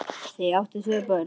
Þau áttu tvö börn.